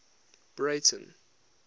breyten